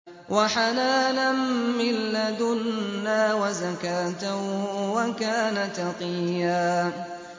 وَحَنَانًا مِّن لَّدُنَّا وَزَكَاةً ۖ وَكَانَ تَقِيًّا